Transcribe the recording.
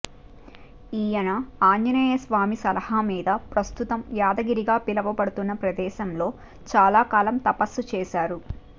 ఈయన ఆంజనేయస్వామి సలహా మీద ప్రస్తుతం యాదగిరిగా పిలవబడుతున్న ప్రదేశంలో చాలా కాలం తపస్సు చేశారు